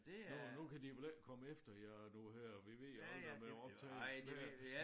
Nu nu kan de vel ikke komme efter jer nu her vi ved jo aldrig med optagelsen her